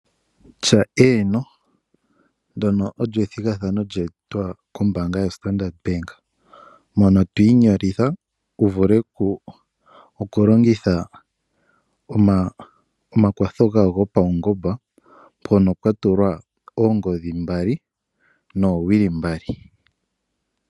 Tya eeno. Ndono olyo ethigathano, lya etwa ko mbaanga ya standard bank mono twii nyolitha, wu vule oku longitha omakwatho gawo go paungomba, mpono pwa tulwa oongodhi mbali, noo wili mbali.